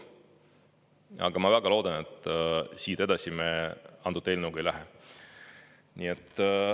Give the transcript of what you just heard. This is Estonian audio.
Aga ma väga loodan, et siit edasi me antud eelnõuga ei lähe.